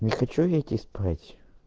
не хочу я идти спать